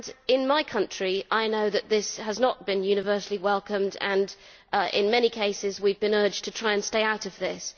In my country, I know that this has not been universally welcomed and in many cases we have been urged to try to stay out of this.